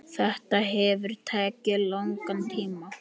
Þetta hefur tekið langan tíma.